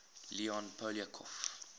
leon poliakov